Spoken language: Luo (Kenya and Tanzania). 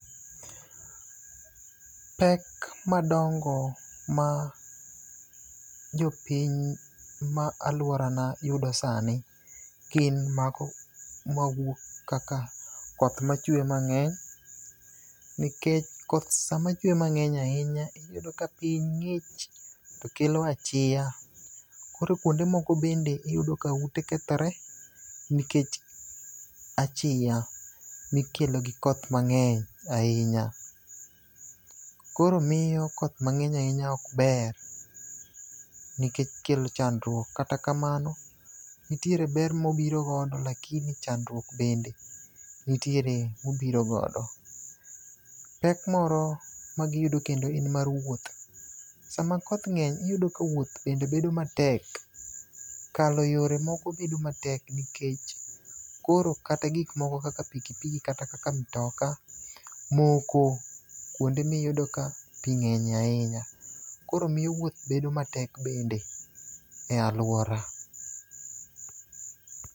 Pek madongo ma jopiny ma aluorana yudo sani gin mago mawuok kaka koth machwe mang'eny nikech koth sama chwe mang'eny ahinya iyudo ka piny ng'ich to kelo achia. Koro kuonde moko bende iyudo ka ute kethore nikech achia mikelo gi koth mang'eny ahinya. Koro miyo koth mangeny ahinya ok ber nikech kelo chandruok. Kata kamano ntie ber mobiro godo to chandruok bende ntiere mobiro godo . Pek moro ma giyudo kendo en mar wuoth ,sama koth ng'eny iyudo ka wuoth bende bedo ma tek. Kalo yore moro bedo matek nikech koro kata gik moko kaka pikipiki kata kaka mtoka moko kuonde miyudo ka pii ng'enye ahinya koro miyo wuoth bedo matek bende e aluora